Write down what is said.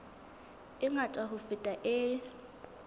e ngata ho feta e